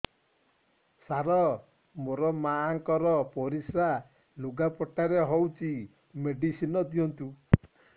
ସାର ମୋର ମାଆଙ୍କର ପରିସ୍ରା ଲୁଗାପଟା ରେ ହଉଚି ମେଡିସିନ ଦିଅନ୍ତୁ